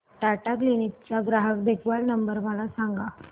Tata Cliq चा ग्राहक देखभाल नंबर मला सांगा